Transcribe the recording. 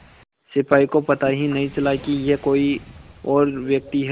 सिपाही को पता ही नहीं चला कि यह कोई और व्यक्ति है